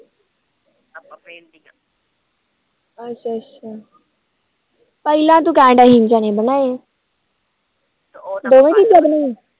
ਅੱਛਾ ਅੱਛਾ ਪਹਿਲਾ ਨੂੰ ਕਹਿੰਦਾ ਸੀ ਚਨੇ ਬਣਾਏ ਬੜੀ ਛੇਤੀ ਬਦਲ ਗੀ